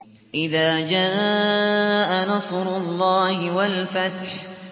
إِذَا جَاءَ نَصْرُ اللَّهِ وَالْفَتْحُ